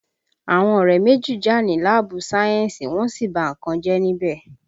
Àwọn ọ̀rẹ́ méjì jà ní láàbù sáyẹ́ǹsì, wọ́n sì ba nǹkan jẹ́ níbẹ̀